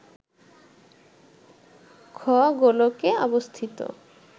খ-গোলকে অবস্থিত